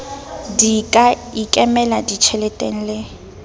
di ka ikemela ditjheleteng le